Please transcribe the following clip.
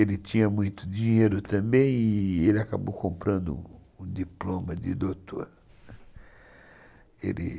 Ele tinha muito dinheiro também e ele acabou comprando o diploma de doutor. Ele